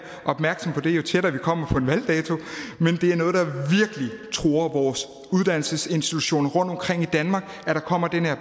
opmærksom på det jo tættere vi kommer på en valgdato truer vores uddannelsesinstitutioner rundtomkring i danmark at der kommer den her